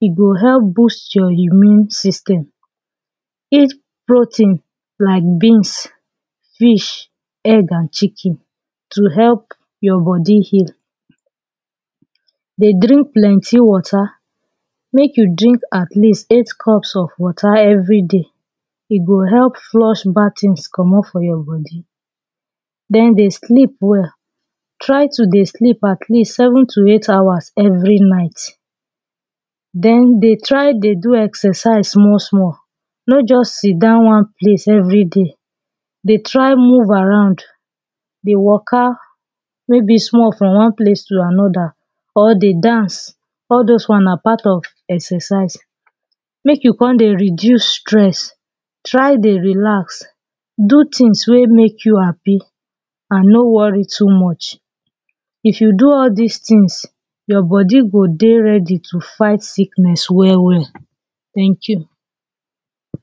e go help boost your immune system eat protein like beans fish egg and chicken to help your body heal. Dey drink plenty water make you drink at least 8 cups of water everyday go help flush bad things comot for your body Then dey sleep well try to dey sleep atleast seven to eight hours every night then dey try dey do exercise small small no just sidown one place every day dey try move around dey waka maybe small from one place to another or dey dance all those one na part of exercise make you come dey reduce stress try dey relax do things wey make you happy and no worry too much if you do all this things your body go dey ready to fight sickness well well .Thank you